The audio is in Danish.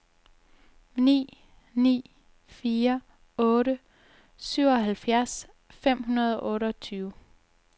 ni ni fire otte syvoghalvfjerds fem hundrede og otteogtyve